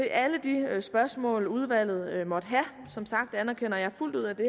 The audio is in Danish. alle de spørgsmål udvalget måtte have som sagt anerkender jeg fuldt ud at det